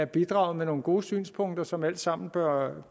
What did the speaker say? bidraget med nogle gode synspunkter som alle sammen bør